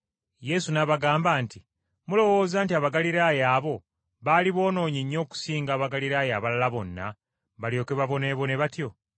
Yesu n’abagamba nti, “Mulowooza nti Abagaliraaya abo baali boonoonyi nnyo okusinga Abagaliraaya abalala bonna, balyoke baboneebone batyo?